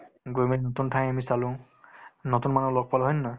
গৈ মেলি নতুন ঠাই আমি চালো নতুন মানুহ লগ পালো হয় নে নহয়